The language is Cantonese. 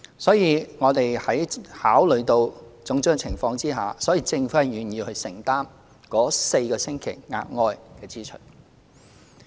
所以，我們在考慮種種情況下，政府願意承擔該4星期的額外支出。